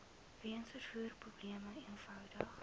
weens vervoerprobleme eenvoudig